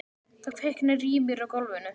Það kviknar í mér á gólfinu.